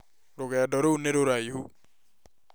Rũgendo rũu nĩ rũraihu